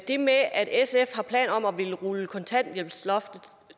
det med at sf har planer om at ville rulle kontanthjælpsloftet